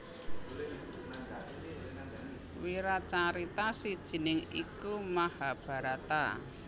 Wiracarita sijiné iku Mahabharata